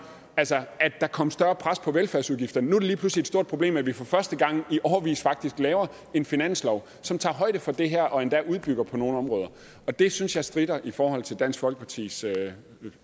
altså at der kommer større pres på velfærdsudgifterne nu er det lige pludselig et stort problem at vi for første gang i årevis faktisk laver en finanslov som tager højde for det her og endda udbygger på nogle områder det synes jeg stritter i forhold til dansk folkepartis